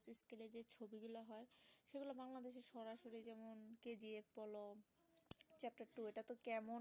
ও তো কেমন